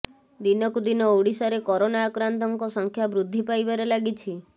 ଦିନକୁ ଦିନ ଓଡିଶାରେ କରୋନା ଆକ୍ରାନ୍ତଙ୍କ ସଂଖ୍ୟା ବୃଦ୍ଧି ପାଇବାରେ ଲାଗିଛି